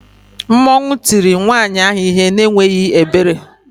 Mmanwu tie nwayi ahu ihe n' enweghi ebere